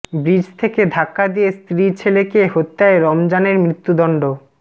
bridge থেকে ধাক্কা দিয়ে স্ত্রী ছেলেকে হত্যায় রমজানের মৃত্যুদণ্ড